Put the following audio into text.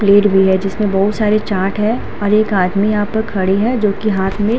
plate भी है जिसमें बहोत सारी चाट है और एक आदमी यहाँ पर खड़े हैं जोकि हाथ में --